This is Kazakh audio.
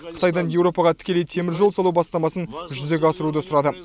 қытайдан еуропаға тікелей теміржол салу бастамасын жүзеге асыруды сұрады